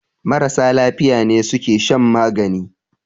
Marasa lafiya ne suke shan magani